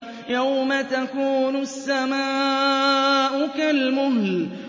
يَوْمَ تَكُونُ السَّمَاءُ كَالْمُهْلِ